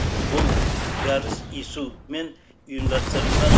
бұл жарыс ису мен ұйымдастырылған